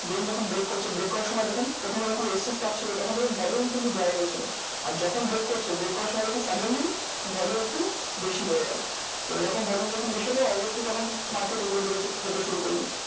Then যখন break করছে break করার সময় দেখুন প্রথমে যখন resistance পাচ্ছিলো, তখন দেখবেন volume কিন্তু dry হয়েছিল। আর যখন break করছে break করার সময় দেখুন suddenly volume একটু বেশি হয়েগেলো। তো এরকম volume যখন বেশি হলে obviously তখন market উপরের দিকে যে~ যেতে শুরু করলো।